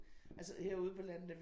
Altså herude på landet er vi